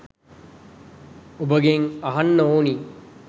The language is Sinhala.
ඔබගෙන් අහන්න ඕනි.